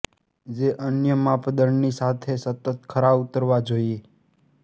જે અન્ય માપદંડની સાથે સતત ખરા ઉતરવા જોઇએ